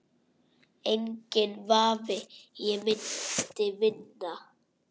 Enginn vafi, ég myndi vinna